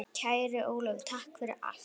Kæri Ólafur, takk fyrir allt.